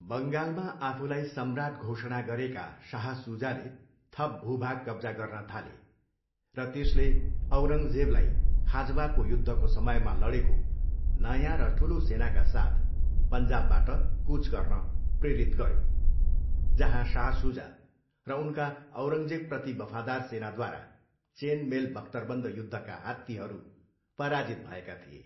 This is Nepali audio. बङ्गालमा आफूलाई सम्राट घोषणा गरेका शाह सुजाले थप भूभाग कब्जा गर्न थाले र त्यसले औरङ्गजेबलाई खाजवाको युद्धको समयमा लडेको नयाँ र ठुलो सेनाका साथ पन्जाबबाट कुच गर्न प्रेरित गर्यो, जहाँ शाह सुजा र उनका औरङ्गजेबप्रति वफादार सेनाद्वारा चेन मेल बख्तरबन्द युद्धका हात्तीहरू पराजित भएका थिए।